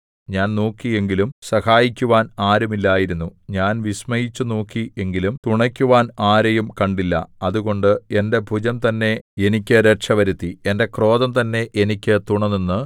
ഞാൻ നോക്കി എങ്കിലും സഹായിക്കുവാൻ ആരുമില്ലായിരുന്നു ഞാൻ വിസ്മയിച്ചു നോക്കി എങ്കിലും തുണയ്ക്കുവാൻ ആരെയും കണ്ടില്ല അതുകൊണ്ട് എന്റെ ഭുജം തന്നെ എനിക്ക് രക്ഷവരുത്തി എന്റെ ക്രോധം തന്നെ എനിക്ക് തുണനിന്ന്